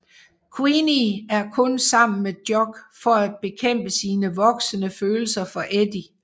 Queenie er kun sammen med Jock for at bekæmpe sine voksende følelser for Eddie